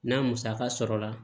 N'a musaka sɔrɔla